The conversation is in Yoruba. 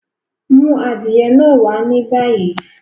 Mú adiẹ̀ náà wà ní báyí!